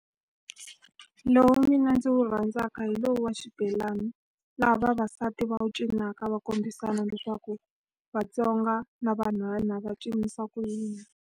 Lowu mina ndzi wu rhandzaka hi lowu wa xibelani. Laha vavasati va wu cinaka, va kombisana leswaku Vatsonga na vanhwana va cinisa ku yini.